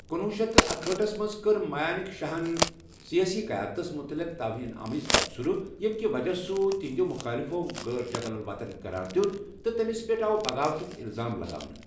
کنوہہ شتھ اکہٲٹھس منٛز کٔر مانیک شاہن سیٲسی قیادتس متعلق توہین آمیز تَبصُرٕ ییٚمہِ کہ وجہ سُہ تہنٛدٮ۪و مُخٲلِفو غیر حبل وطن قرار دِیت، تہٕ تٔمِس پٮ۪ٹھ آو بغاوتُک الزام لگاونہٕ۔